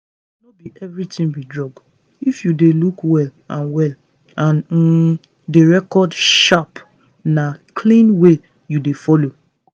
no be everything be drug. if you dey look well and well and um dey record sharp na clean way you dey follow